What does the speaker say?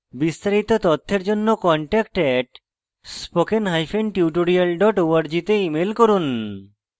বিস্তারিত তথ্যের জন্য contact @spokentutorial org তে ইমেল করুন